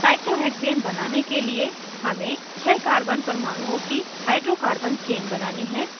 cyclohexane बनाने के लिए हमें छः carbon परमाणुओं की hydrocarbon chain बनानी है